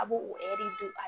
A b'o